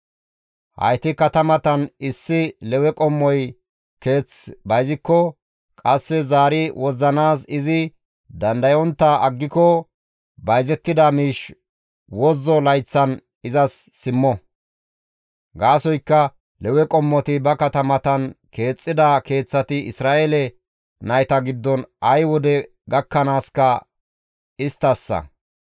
Hayti katamatan issi Lewe qommoy keeth bayzikko qasse zaari wozzanaas izi dandayontta aggiko bayzettida miish wozzo layththan izas simmo; gaasoykka Lewe qommoti ba katamatan keexxida keeththati Isra7eele nayta giddon ay wode gakkanaaska isttassa.